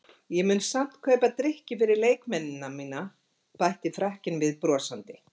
Ég mun samt kaupa drykki fyrir leikmennina mína bætti Frakkinn við brosandi.